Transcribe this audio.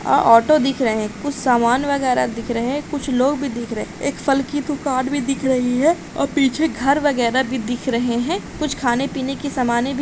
अ auto दिख रहे हैं कुछ सामान वगैरह दिख रहे हैं कुछ लोग भी दिख रहे एक फल की दुकान भी दिख रही हैं और पीछे घर वगैरह भी दिख रहे हैं कुछ खाने पीने की समाने भी --